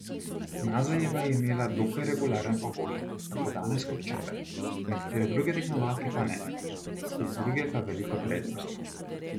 Mazejeva je imela dokaj regularne pogoje tako danes kot včeraj, nekatere druge tekmovalke pa ne, spet druge pa veliko prednost.